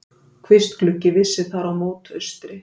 Kvistgluggi vissi þar mót austri.